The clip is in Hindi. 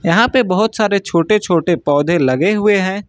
यहां पे बहुत सारे छोटे छोटे पौधे लगे हुए हैं।